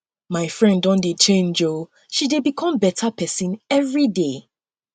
um my friend don um dey change o she dey become beta pesin everyday